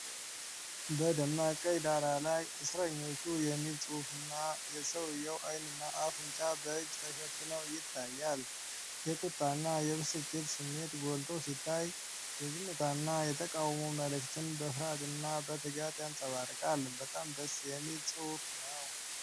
በደማቅ ቀይ ዳራ ላይ "እስረኞቹ" የሚል ጽሑፍ እና የሰውዬ አይንና አፍ በእጅ ተሸፍነው ይታያል። የቁጣና የብስጭት ስሜት ጎልቶ ሲታይ፤ የዝምታና የተቃውሞ መልዕክትን በፍርሃትና በትጋት ያንጸባርቃል። በጣም ደስ የሚል መፅሐፍ ነው።